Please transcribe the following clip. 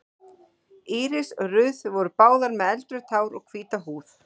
Íris og Ruth voru báðar með eldrautt hár og hvíta húð.